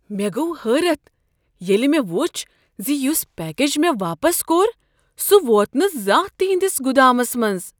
مےٚ گوٚو حٲرتھ ییٚلہ مےٚ وُچھ ز یُس پیکج مےٚ واپس کوٚر سُہ ووت نہٕ زانٛہہ تہ تہنٛدس گُدامس منٛز!